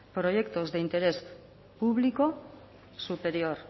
proyectos de interés público superior